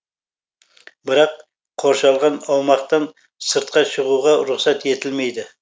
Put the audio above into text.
бірақ қоршалған аумақтан сыртқа шығуға рұқсат етілмейді